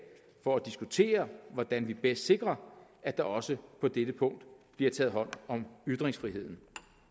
for at diskutere hvordan vi bedst sikrer at der også på dette punkt bliver taget hånd om ytringsfriheden